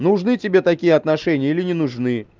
нужны тебе такие отношения или не нужны